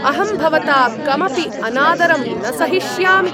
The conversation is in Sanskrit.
अहं भवता कमपि अनादरं न सहिष्यामि।